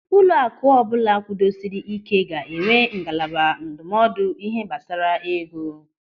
Ụlọaku ọbụla kwudosiri ị́ké ga-enwe ngalaba ndụmọdụ ihe gbasara ego.